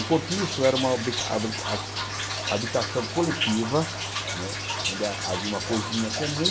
O cortiço era uma habrica habrica ha habitação coletiva, não é onde havia uma cozinha comum.